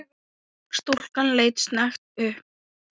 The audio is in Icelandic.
Stúlkan leit snöggt upp.